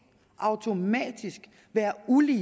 automatisk være ulige